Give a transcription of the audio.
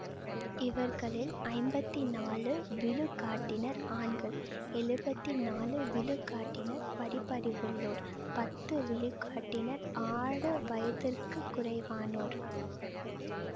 இவர்களில் ஐம்பத்தி நாலு விழுக்காட்டினர் ஆண்கள் எழுவத்தி நாலு விழுக்காட்டினர் படிப்பறிவுள்ளோர் பத்து விழுக்காட்டினர் ஆறு வயதிற்கு குறைவானோர்